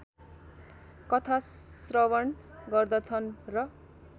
कथाश्रवण गर्दछन् र